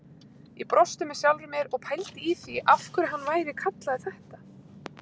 Ég brosti með sjálfri mér og pældi í því af hverju hann væri kallaður þetta.